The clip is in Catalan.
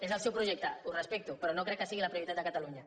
és el seu projecte ho respecto però no crec que sigui la prioritat de catalunya